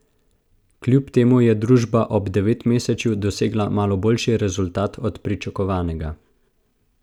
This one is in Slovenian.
Kljub temu je družba ob devetmesečju dosegla malo boljši rezultat od pričakovanega.